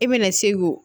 I bɛna se k'o